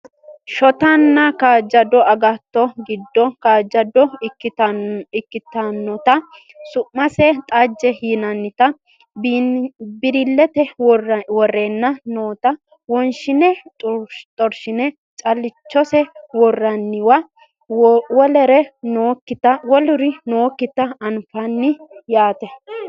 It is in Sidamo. Shotanna kaajjado agatto giddo kaajjado ikkitinota su'mase xajjete yinannita bililete worreenna noota wonshine xorshine callichose worroonniwa woluri nookkita anfanni yaate